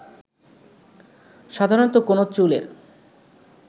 সাধারণত কোনো চুলের